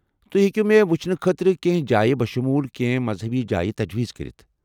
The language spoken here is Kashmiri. تُہۍ ہیٚکو مےٚ وُچھنہٕ خٲطرٕ کینٛہہ جایہِ بشمول كینہہ مذہبی جایہ تجویز كرِتھ ۔